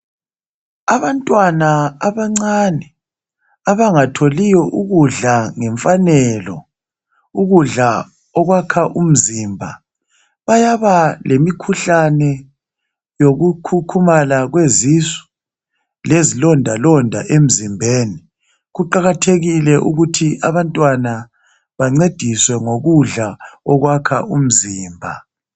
Abantwana abancane abangatholiyo ukudla ngemfanelo, ukudla okuyakha umzimba bayaba lemikhuhlane yokukhukhumala kwezisu lezi londalonda emzimbeni. Kuqakathekile ukuthi abantwana bancediswe ngokudla okwakha umzimba.